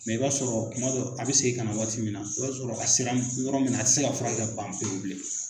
i b'a sɔrɔ kuma dɔ a bɛ segin ka na waati min na o y'a sɔrɔ a seran yɔrɔ min na a tɛ se ka furakɛ ka ban pewu bilen.